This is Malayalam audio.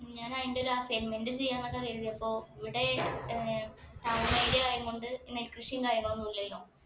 ഉം ഞാൻ അയിന്റെ ഒരു assignment ഉം ചെയ്യാനൊക്കെ വിചാരിച്ച് അപ്പൊ ഇവിടെ ഏർ താഴ്ന്ന area ആയൻകൊണ്ട് നെൽക്കൃഷിയും കാര്യങ്ങളൊന്നു ഇല്ലല്ലൊ